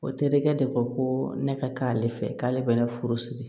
O terikɛ de ko ko ne ka k'ale fɛ k'ale bɛ ne furusiri